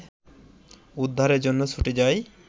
উদ্ধারের জন্য ছুটে যাই